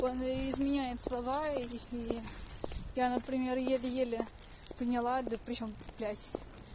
буквально изменяет слова их и я например еле-еле поняла да причём блядь